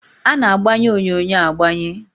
A na-agbanye onyonyo agbanye